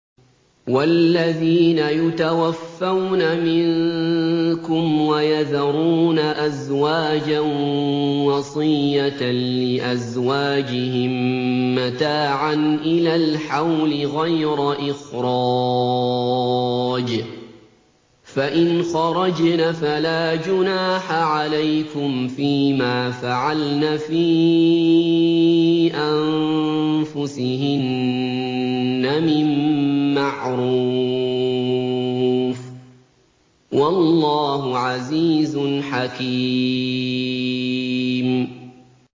وَالَّذِينَ يُتَوَفَّوْنَ مِنكُمْ وَيَذَرُونَ أَزْوَاجًا وَصِيَّةً لِّأَزْوَاجِهِم مَّتَاعًا إِلَى الْحَوْلِ غَيْرَ إِخْرَاجٍ ۚ فَإِنْ خَرَجْنَ فَلَا جُنَاحَ عَلَيْكُمْ فِي مَا فَعَلْنَ فِي أَنفُسِهِنَّ مِن مَّعْرُوفٍ ۗ وَاللَّهُ عَزِيزٌ حَكِيمٌ